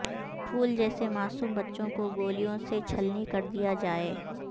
پھول جیسے معصوم بچوں کو گولیوں سے چھلنی کردیا جائے